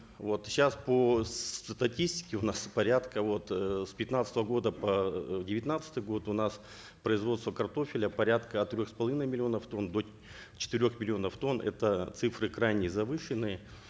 вот сейчас по статистике у нас порядка вот эээ с пятнадцатого года по э девятнадцатый год у нас производство картофеля порядка от трех с половиной миллионов тонн до четырех миллионов тонн это цифры крайне завышенные